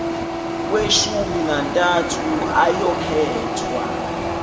kweshumi nantathu ayokhethwa